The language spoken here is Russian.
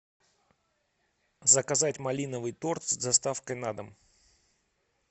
заказать малиновый торт с доставкой на дом